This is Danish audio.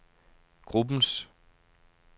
gruppens